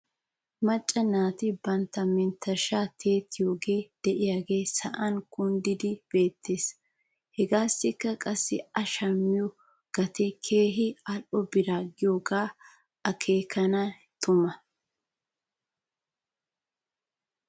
Macca naati bantta menttershshan tiyettiyoogee de'iyaagee sa'an kunddidi beettes. Hegaassikka qassi a shammiyoo gatee keehi al'o bira giyoogee atkeena tumee?